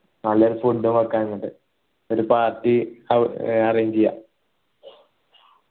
നല്ലൊരു food വെക്ക എന്നിട്ട് ഒരു party arrange ചെയ